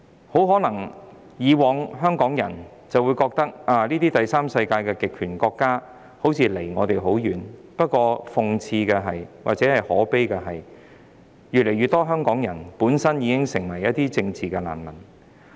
香港人以往很可能認為這些第三世界的極權國家與我們距離很遠，但諷刺及可悲的是，越來越多香港人本身也成為了政治難民。